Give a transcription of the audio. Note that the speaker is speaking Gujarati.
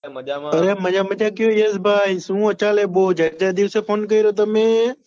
એ મજા મજા કેમ છો યશભાઈ શું ચાલે બહુ જાજા દિવસે ફોન કર્યો તમે